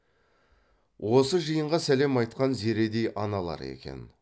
осы жиынға сәлем айтқан зередей аналары екен